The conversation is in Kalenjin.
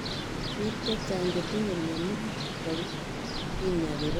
Piik chechang chetinye mionitok kinyai kepaishe toretet nekitilei panyek ne nitok kogochin koo